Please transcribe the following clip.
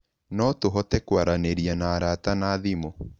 No tũhote kwaranĩria na arata na thimũ